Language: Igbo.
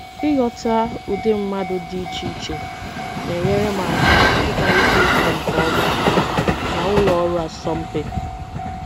Ịghọta ụdị mmadụ dị iche iche na-enyere m aka ịkparịta ụka nke ọma na ụlọ ọrụ asọmpi.